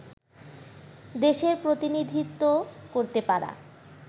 দেশের প্রতিনিধিত্ব করতে পারা